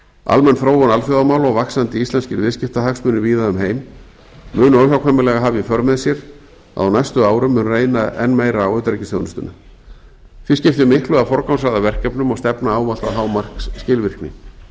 almenn þróun alþjóðamála og vaxandi íslenskir viðskiptahagsmunir víða um heim munu óhjákvæmilega hafa í för með sér að á næstu árum mun reyna enn meira á utanríkisþjónustuna því skiptir miklu að forgangsraða verkefnum og stefna ávallt að hámarksskilvirkni það er